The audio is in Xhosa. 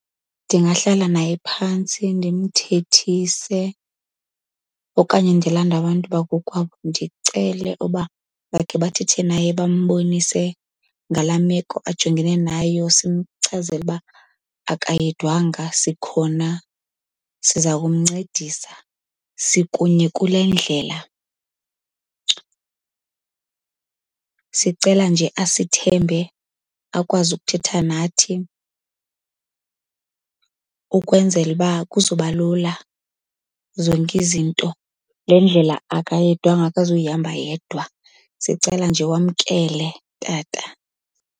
Ndingahlala naye phantsi ndimthethise okanye ndilanda abantu bakokwabo ndicele uba bakhe bathethe naye bambonise ngalaa meko ajongene nayo. Simchazele uba akayedwanga sikhona, siza kumncedisa. Sikunye kule ndlela. Sicela nje asithembe akwazi ukuthetha nathi ukwenzela uba kuzoba lula zonke izinto. Le ndlela akayedwanga, akazuyihamba yedwa. Sicela nje wamkele, tata.